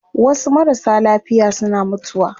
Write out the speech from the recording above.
Wasu marasa lafiya suna mutuwa